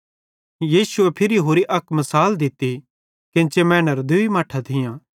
यीशु फिरी होरि मिसाल दित्ती केन्ची मैनेरां दूई मट्ठां थियां